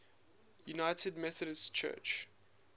united methodist church